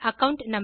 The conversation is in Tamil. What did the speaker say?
அகாவுண்ட்